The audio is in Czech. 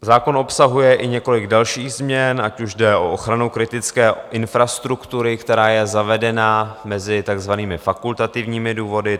Zákon obsahuje i několik dalších změn, ať už jde o ochranu kritické infrastruktury, která je zavedena mezi takzvanými fakultativními důvody.